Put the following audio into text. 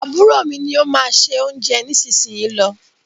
Àbúrò mí ní o má ṣe oúnjẹ nísìsiyìí ló.